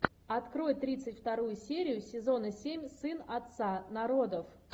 открой тридцать вторую серию сезона семь сын отца народов